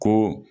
Ko